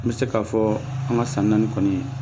N bɛ se k'a fɔ an ka san naani kɔni